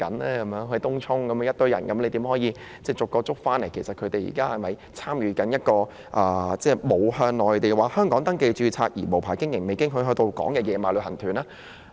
例如有一群人在東涌聚集，有關當局應如何分辨他們是否參加了沒有向內地或香港登記註冊而無牌經營或未經許可到港的"野馬"旅行團呢？